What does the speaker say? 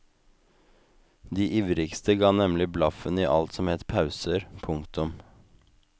De ivrigste ga nemlig blaffen i alt som het pauser. punktum